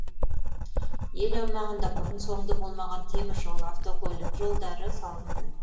ел аумағында бұрын соңды болмаған теміржол автокөлік жолдары салынды